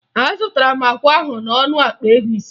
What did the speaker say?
Azụtara m akwa ahụ n'ọnụ akpa ego ise